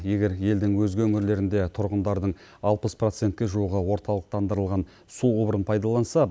егер елдің өзге өңірлерінде тұрғындардың алпыс процентке жуығы орталықтандырылған су құбырын пайдаланса